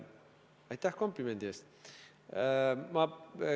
Aitäh komplimendi eest!